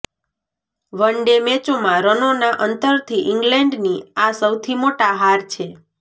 one day મેચોમાં રનોના અંતરથી ઇંગ્લેન્ડની આ સૌથી મોટા હાર છે